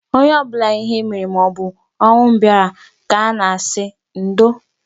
Onye ọbụla ihe mere maobụ ọnwụ bịara ka a na-asị ndo